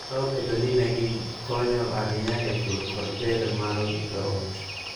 Kata obedo ni ne gikonyo ahinya e pur kod ber mar joot,